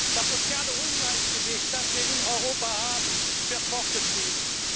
Das soziale Ungleichgewicht, das wir in Europa haben, wird fortgeschrieben.